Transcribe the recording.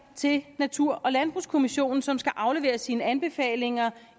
til natur og landbrugskommissionen som skal aflevere sine anbefalinger